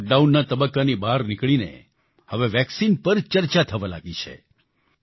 લોકડાઉનના તબક્કાની બહાર નીકળીને હવે વેક્સિન પર ચર્ચા થવા લાગી છે